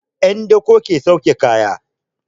'Yan dako ke sauke kaya.